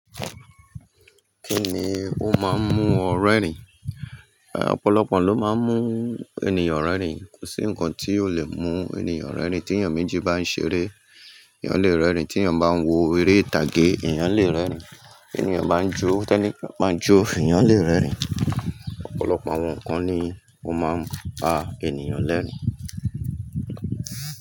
Kí ni ó máa ń mú ọ rẹ́rìn? Ọ̀pọ̀lọpọ̀ n lo ma ń mú ènìyàn rẹ́rìn. Kò sí nǹkan tí ò le mú ènìyàn rẹ́rìn. Tí ènìyàn méjì bá ń ṣeré, èèyàn lè rẹ́rìn. Tí ènìyàn bá ń wo eré ìtàgé, èèyàn lè rẹ́rìn. Tí ènìyàn bá ń jó, tẹ́níì kan bá ń jó, èèyàn lè rẹ́rìn. Ọ̀pọ̀lọpọ̀ àwọn nǹkan ni ó máa ń pa ènìyàn lẹ́rìn.